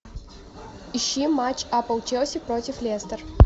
ищи матч апл челси против лестер